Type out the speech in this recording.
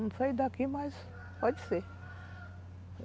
Não sei daqui, mas pode ser.